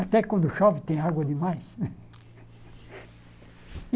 Até quando chove tem água demais.